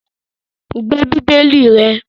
Gbe Bíbélì rẹ̀!